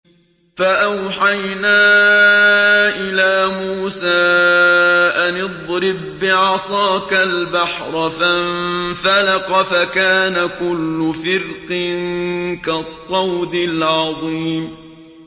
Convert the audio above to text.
فَأَوْحَيْنَا إِلَىٰ مُوسَىٰ أَنِ اضْرِب بِّعَصَاكَ الْبَحْرَ ۖ فَانفَلَقَ فَكَانَ كُلُّ فِرْقٍ كَالطَّوْدِ الْعَظِيمِ